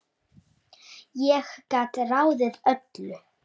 Ég gat ráðið öllu.